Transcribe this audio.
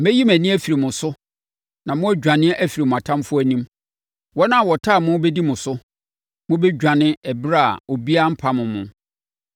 Mɛyi mʼani afiri mo so, na moadwane afiri mo atamfoɔ anim. Wɔn a wɔtan mo bɛdi mo so. Mobɛdwane ɛberɛ a obiara mpam mo.